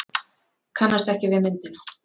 Kannast ekki við myndina.